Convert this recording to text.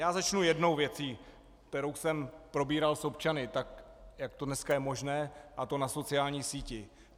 Já začnu jednou věcí, kterou jsem probíral s občany tak, jak to dneska je možné, a to na sociální síti.